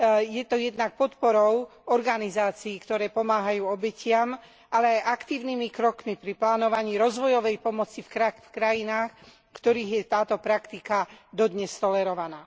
Je to jednak podporou organizácií, ktoré pomáhajú obetiam, ale aj aktívnymi krokmi pri plánovaní rozvojovej pomoci v krajinách, v ktorých je táto praktika dodnes tolerovaná.